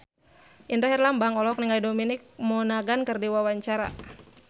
Indra Herlambang olohok ningali Dominic Monaghan keur diwawancara